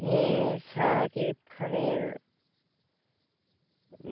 হ্যাঁ সাকিব খানের